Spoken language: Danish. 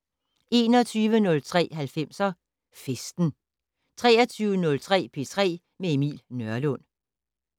21:03: 90'er Festen 23:05: P3 med Emil Nørlund